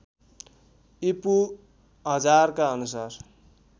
ईपू १००० का अनुसार